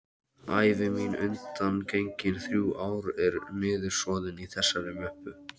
Ævi mín undangengin þrjú ár er niðursoðin í þessari möppu.